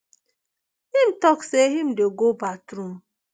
im tok say im dey go bathroom